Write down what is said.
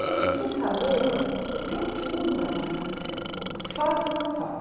Gente, eu fui saber, falei, eu tenho tudo para passar nesse concurso, faço ou não faço.